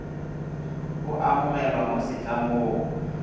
o a amogelwa mo setlamong